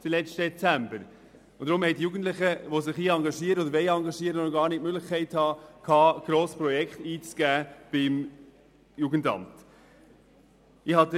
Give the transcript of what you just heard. Deshalb hatten die Jugendlichen, die sich engagieren, noch gar nicht viele Möglichkeiten, Projekte beim Jugendamt einzugeben.